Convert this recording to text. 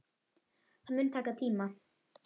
Það mun taka tíma.